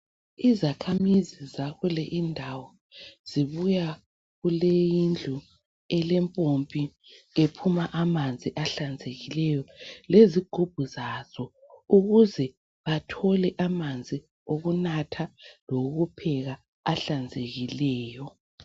Izakhamisi zakule indawo zibuya kule indlu elempompi ephuma amanzi ahlanzekileyo lezigubhu zazo. Ukuze bathole amanzi okunatha lokupheka ahlanzekileyo.